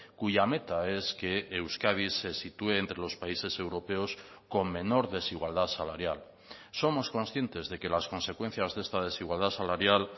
cuya meta es que euskadi se sitúe entre los países europeos con menor desigualdad salarial somos conscientes de que las consecuencias de esta desigualdad salarial